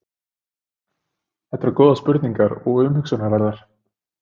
Þetta eru góðar spurningar og umhugsunarverðar.